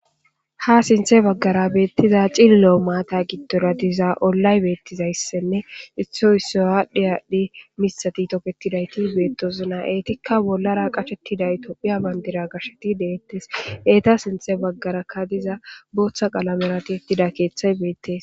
Ha sinthe baggara beettiza cillilo maata giddora diza ollay beettizayssenne issoy issoy aadhdhi aadhdhi misati toketidayti beettosona. Eetikka bollara qashettiday topphiya bandira gashsheti deettes. Eeta sinthe baggarakka diza booththa qalamera ti7ettida keeththay beettes.